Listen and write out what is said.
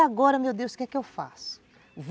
E agora, meu Deus, o que é que eu faço?